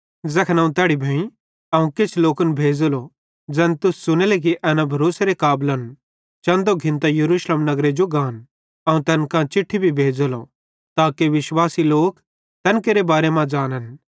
ज़ैखन अवं तैड़ी भोईं अवं किछ लोकन भेज़ेलो ज़ैन तुस च़ुनेले कि एना भरोसेरे काबलन चन्दो घिन्तां यरूशलेम नगरे जो गान अवं तैन कां चिट्ठी भी भेज़ेलो ताके विश्वासी लोक तैन केरे बारे मां ज़ानन्